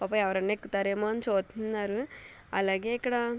పాపం ఎవరన్నా ఎక్కుతారో ఏమో అని చూత్నారు అలాగే ఇక్కడ --